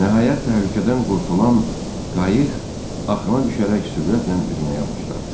Nəhayət təhlükədən qurtulan qayıq axına düşərək sürətlə üzməyə başladı.